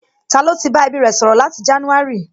Ta ló ti bá ẹbí rẹ̀ sọ̀rọ̀ láti jánúárì?